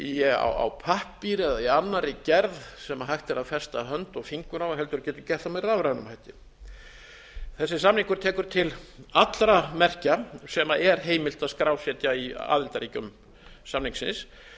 með það á pappír eða í annarri gerð sem hægt er að festa hönd og fingur á heldur getur gert það með rafrænum hætti þessi samningur tekur til allra merkja sem er heimilt að skrásetja í aðildarríkjum samningsins þetta